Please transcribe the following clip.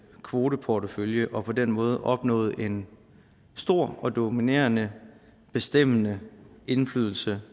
kvoteportefølje og på den måde opnåede en stor dominerende og bestemmende indflydelse